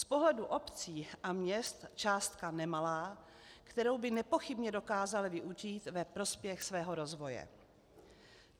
Z pohledu obcí a měst částka nemalá, kterou by nepochybně dokázaly využít ve prospěch svého rozvoje.